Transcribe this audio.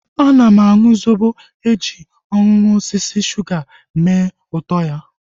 Ana m aṅụ zobo eji ihe ọṅụṅụ osisi suga mee ụtọ ya